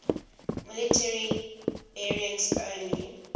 military variants only